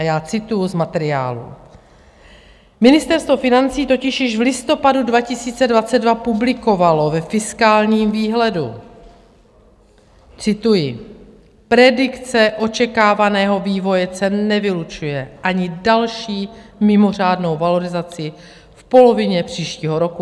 A já cituji z materiálů: Ministerstvo financí totiž již v listopadu 2022 publikovalo ve fiskálním výhledu - cituji: "Predikce očekávaného vývoje cen nevylučuje ani další mimořádnou valorizaci v polovině příštího roku.